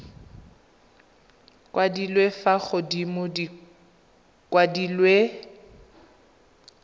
kwadilwe fa godimo di kwadilwe